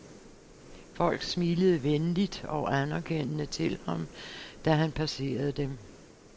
Folk smilede venligt og anerkendende til ham, da han passerede dem.